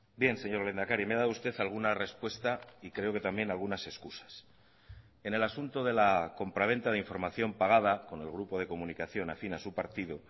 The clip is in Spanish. bien señor lehendakari me ha dado usted alguna respuesta y creo que también algunas excusas en el asunto de la compraventa de información pagada con el grupo de comunicación afín a su partido